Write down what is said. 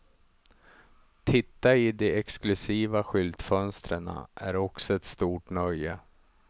Titta i de exklusiva skyltfönsterna är också ett stort nöje.